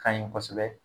Ka ɲi kosɛbɛ